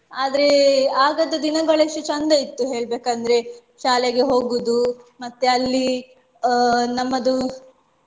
ಆದ್ರೆ ಆಗದ ದಿನಗಳು ಎಷ್ಟು ಚಂದ ಇತ್ತು ಹೇಳ್ಬೇಕಂದ್ರೆ ಶಾಲೆಗೆ ಹೋಗುದು ಮತ್ತೆ ಅಲ್ಲಿ ಅಹ್ ನಮ್ಮದು